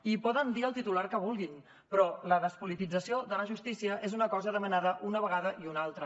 i poden dir el titular que vulguin però la despolitització de la justícia és una cosa demanada una vegada i una altra